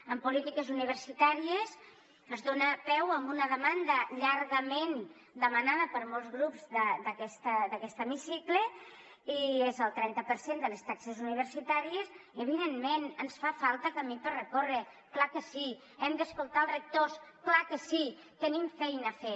en polítiques universitàries es dona peu a una demanda llargament demanada per molts grups d’aquest hemicicle i és el trenta per cent de les taxes universitàries i evidentment ens falta camí per recórrer clar que sí hem d’escoltar els rectors clar que sí tenim feina a fer